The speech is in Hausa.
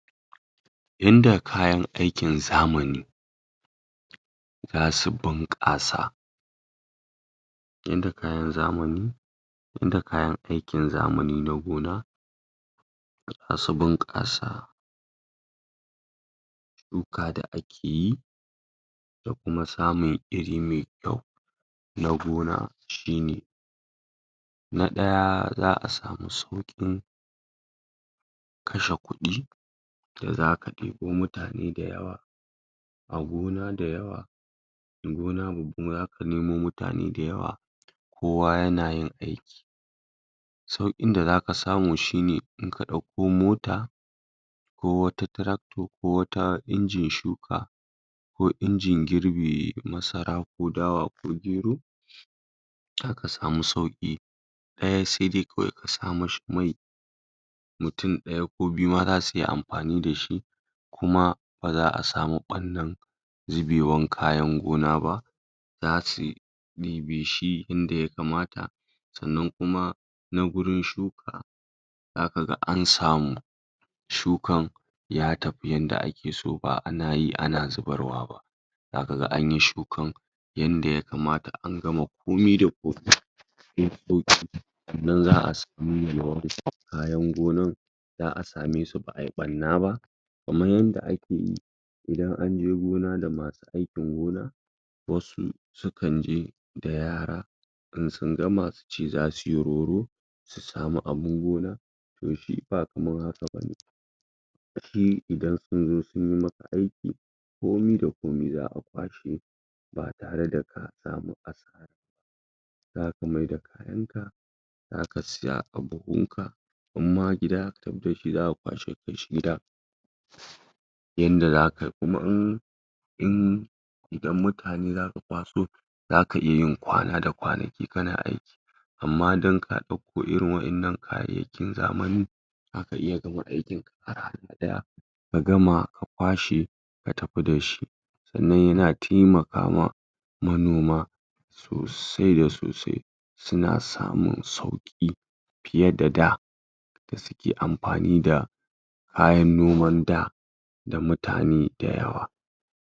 Yanda kayan aikin zamani zasu bunƙasa yanda kayan zamani yanda kayan aikin zamani na gona zasu bunƙasa shuka da akeyi da kuma samun iri mai kyau na gona shine: Na ɗaya za'a samu sauƙin kashe kuɗi da zaka ɗebo mutane da yawa a gona da yawa da gana babba kuma zaka nemo mutane da yawa kowa ya na yin aiki, sauƙin da zaka samu shine in ka ɗauko mota ko wata tractor ko wata injin shuka, ko injin girbe masara, ko dawa, ko gero, zaka samu sauƙi ɗaya sai dai kawai ka sa ma shi mai, mutum ɗaya ko biyu ma zasu iya amfani da shi, kuma ba za'a samu ɓannan zubewan kayan gona ba, za suyi maybe shi inda yakamata sannan kuma nan gurin shuka za kaga an samu shukan ya tafi yanda ake so ba ana yi ana zubarwa ba, za kaga anyi shukan yanda yakamata an gama komi da komi, shifkoki sannan za'a samu yalwar kayan gonan, za'a same su ba'ai ɓanna ba kaman yanda ake yi idan anje gona da masu aikin gona, wasu sukan je da yara in sun gama su ce za suyi roro su samu abun gona to shi ba kaman haka bane, shi idan sun zo sun yi maka aiki komi da komi za'a kwashe ba tare da ka samu asara ba, za ka maida kayanka zaka sa a buhunka, in ma gida zaka tafi da shi zaka kwashe ka kai shi gida, yanda za kai kuma in in... idan mutane zaka kwaso za ka iya yin kwana da kwanaki kana aiki, amma dan ka ɗakko irin waɗannan kayayyakin zamanin zaka iya gama aikinka a rana ɗaya, a gama a kwashe ka tafi da shi, sannan ya na taimaka ma manoma sosai da sosai, su na samun sauƙi fiye da da. da su ke amfani da kayan noman da da mutane da yawa.